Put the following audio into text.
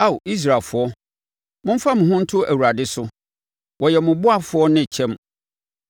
Ao Israelfoɔ, momfa mo ho nto Awurade so, ɔyɛ mo ɔboafoɔ ne kyɛm.